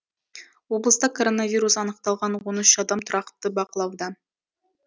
облыста коронавирус анықталған он үш адам тұрақты бақылауда